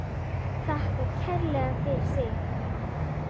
Þakkar kærlega fyrir sig.